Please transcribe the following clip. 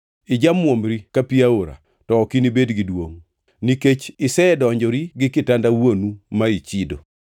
Ijamuomri ka pi aora, to ok inibed gi duongʼ, nikech isedonjori, gi kitanda wuonu ma ichido.